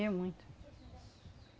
E muito.